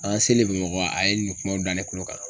An ka seli Bamakɔ a ye nin kumaw da ne kulo kan.